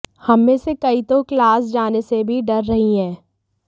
हम में से कई तो क्लास जाने से भी डर रहीं हैं